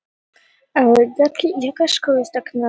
Þú hefðir þurft að vera þarna og sjá fésið á liðinu.